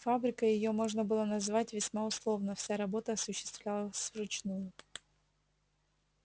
фабрикой её можно было назвать весьма условно вся работа осуществлялась вручную